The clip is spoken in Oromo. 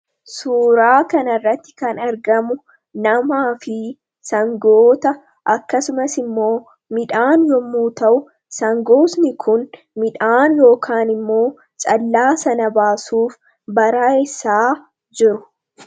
Suuraa kana irratti kan argamu namaa fi sangoota. Akkasumas immoo midhaan yemmuu ta'u, sangoonni Kun midhaan yookaan immoo callaa sana baasuuf baraayessaa jiru.